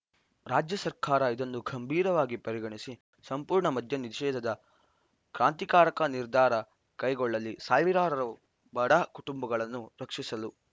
ರಾಜ್ಯ ಸರ್ಕಾರ ಇದನ್ನು ಗಂಭೀರವಾಗಿ ಪರಿಗಣಿಸಿ ಸಂಪೂರ್ಣ ಮದ್ಯ ನಿಷೇದದ ಕ್ರಾಂತಿಕಾರಕ ನಿರ್ಧಾರ ಕೈಗೊಳ್ಳಲಿ ಸಾವಿರಾರು ಬಡ ಕುಟುಂಬಗಳನ್ನು ರಕ್ಷಿಸಲು